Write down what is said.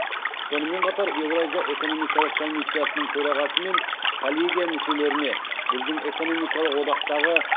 сонымен қатар еуразия экономикалық комиссиясының төрағасы мен коллегия мүшелеріне біздің экономикалық одақтағы